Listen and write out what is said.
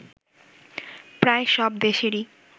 প্রায় সব দেশেরই